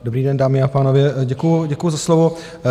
Dobrý den, dámy a pánové, děkuji za slovo.